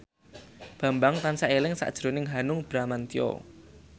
Bambang tansah eling sakjroning Hanung Bramantyo